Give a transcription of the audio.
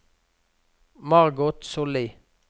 Margot Sollie